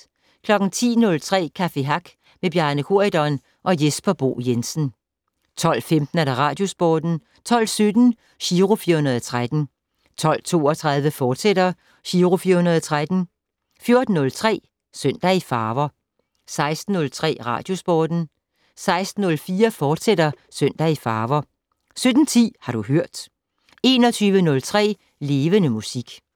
10:03: Café Hack med Bjarne Corydon og Jesper Bo Jensen 12:15: Radiosporten 12:17: Giro 413 12:32: Giro 413, fortsat 14:03: Søndag i farver 16:03: Radiosporten 16:04: Søndag i farver, fortsat 17:10: Har du hørt 21:03: Levende Musik